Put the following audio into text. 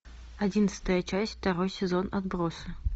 одиннадцатая часть второй сезон отбросы